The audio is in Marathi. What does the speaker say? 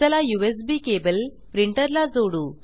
चला यूएसबी केबल प्रिंटर ला जोडू